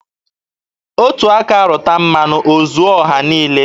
Otu aka rụta mmanụ, o zuo ọha niile.